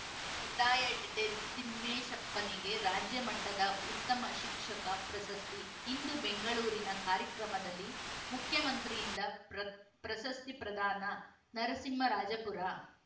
ಕಡ್ಡಾಯ ಎಡಿಟೆಡ್‌ ತಿಮ್ಮೇಶಪ್ಪನಿಗೆ ರಾಜ್ಯ ಮಟ್ಟದ ಉತ್ತಮ ಶಿಕ್ಷಕ ಪ್ರಸಸ್ತಿ ಇಂದು ಬೆಂಗಳೂರಿನ ಕಾರ್ಯಕ್ರಮದಲ್ಲಿ ಮುಖ್ಯಮಂತ್ರಿಯಿಂದ ಪ್ರ ಪ್ರಸಸ್ತಿ ಪ್ರದಾನ ನರಸಿಂಹರಾಜಪುರ